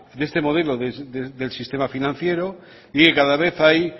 de este modelo del sistema financiero y cada vez hay